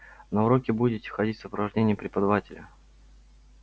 на уроки будете ходить в сопровождении преподавателя